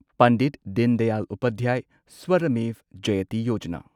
Pandit Deendayal Upadhyay Shramev Jayate Yojana